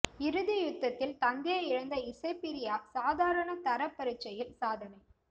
இறுதி யுத்தத்தில் தந்தையை இழந்த இசைப்பிரியா சாதாரண தர பரீட்சையில் சாதனை